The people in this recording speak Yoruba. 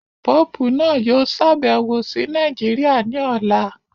Pope naa yoo ṣabẹwo si Naijiria ni ọla